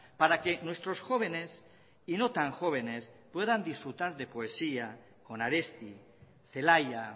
para que nuestros jóvenes y no tan jóvenes puedan disfrutar de poesía con aresti celaya